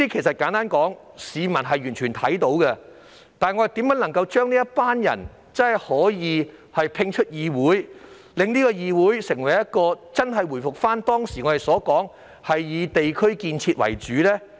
市民完全看到這些情況，但我們如何能將這些人摒出議會，令議會真正回復至"以地區建設"為主？